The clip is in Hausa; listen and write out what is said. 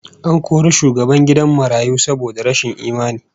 An kori shugaban gidan marayu saboda rashin imani